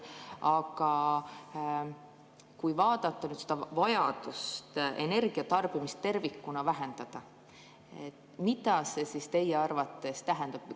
Aga kui vaadata vajadust energiatarbimist tervikuna vähendada, siis mida see teie arvates tähendab?